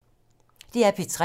DR P3